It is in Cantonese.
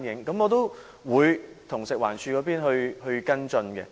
我們會和食環署跟進。